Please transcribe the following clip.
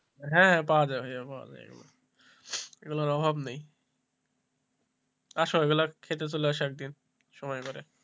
হ্যাঁ পাওয়া যাবে পাওয়া যায় এগুলোর অভাব নেই আসো এগুলো খেতে চলে আসো একদিন সময় করে,